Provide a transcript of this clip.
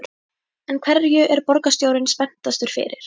En hverju er borgarstjóri spenntastur fyrir?